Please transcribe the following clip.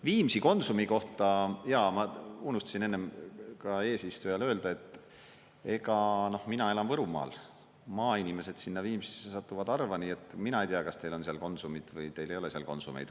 Viimsi Konsumi kohta, jaa, ma unustasin enne ka eesistujale öelda, et mina enam Võrumaal, maainimesed sinna Viimsisse satuvad harva, nii et mina ei tea, kas teil on seal Konsumit või teil ei ole seal Konsumeid.